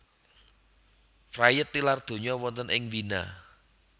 Fried tilar donya wonten ing Wina